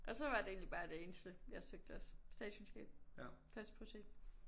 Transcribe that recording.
Og så var det egentlig bare det eneste jeg søgte også. Statskundskab. Førsteprioritet